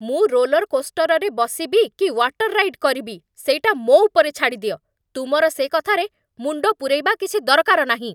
ମୁଁ ରୋଲର୍‌କୋଷ୍ଟର୍‌ରେ ବସିବି କି ୱାଟର୍ ରାଇଡ୍ କରିବି ସେଇଟା ମୋ' ଉପରେ ଛାଡ଼ିଦିଅ, ତୁମର ସେ କଥାରେ ମୁଣ୍ଡ ପୂରେଇବା କିଛି ଦରକାର ନାହିଁ ।